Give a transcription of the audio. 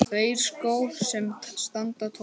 Tveir skór sem standa tómir.